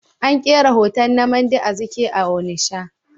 An kera hoton Nnamdi Azikiwe a Onitsha.